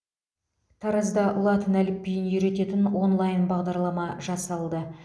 таразда латын әліпбиін үйрететін онлайн бағдарлама жасалды